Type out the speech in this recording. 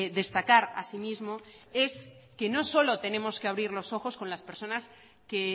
destacar así mismo es que no solo tenemos que abrir los ojos con las personas que